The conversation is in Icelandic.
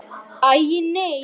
Hann hristir sig allan.